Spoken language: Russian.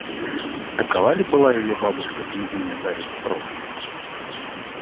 такова ли была её бабушка княгиня дарья петрова